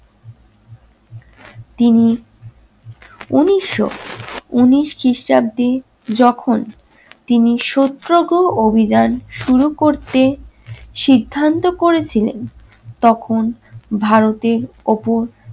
তিনি উনিশশো উনিশ খ্রিস্টাব্দে যখন তিনি সত্যগ্রহ অভিযান শুরু করতে সিদ্ধান্ত করেছিলেন তখন ভারতের ওপর